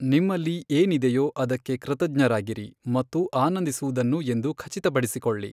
ನಿಮ್ಮಲ್ಲಿ ಏನಿದೆಯೊ ಅದಕ್ಕೆ ಕೃತಜ್ಞರಾಗಿರಿ ಮತ್ತು ಆನಂದಿಸುವುದನ್ನು ಎಂದು ಖಚಿತಪಡಿಸಿಕೊಳ್ಳಿ.